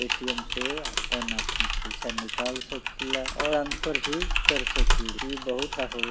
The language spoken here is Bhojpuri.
ए.टी.एम. से आपन आपन पैसा निकाल सकिला। अउर ट्रांसफर भी कर सकी इ ---